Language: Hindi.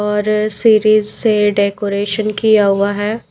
और सीरीज से डेकोरेशन किया हुआ है।